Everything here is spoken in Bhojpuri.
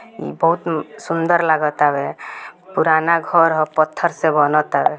बहुत सुंदर लगा तवे पुराना घर हो पत्थर से बना तवे |